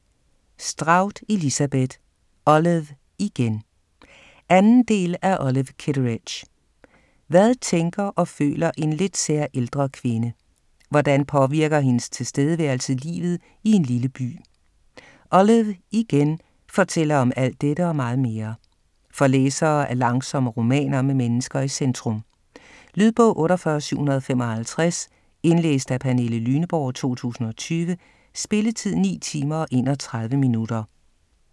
Strout, Elizabeth: Olive, igen 2. del af Olive Kitteridge. Hvad tænker og føler en lidt sær, ældre kvinde? Hvordan påvirker hendes tilstedeværelse livet i en lille by? "Olive, igen" fortæller om alt dette, og meget mere. For læsere af langsomme romaner med mennesker i centrum. Lydbog 48755 Indlæst af Pernille Lyneborg, 2020. Spilletid: 9 timer, 31 minutter.